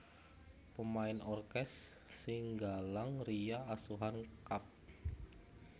Pemain orkes Singgalang Ria Asuhan Kapt